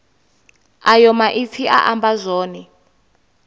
ayo maipfi a amba zwone